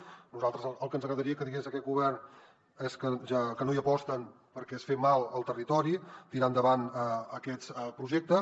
a nosaltres el que ens agradaria que digués aquest govern és que no hi aposten perquè és fer mal al territori tirar endavant aquests projectes